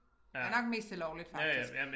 Jeg nok mest til lovligt faktisk